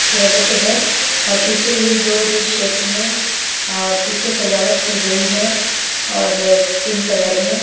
चेहरे पे है और पीछे ही दो दिल शेप में अ पीछे सजावट की गई है और पिंक कलर में--